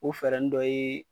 O fɛɛrɛnin dɔ ye.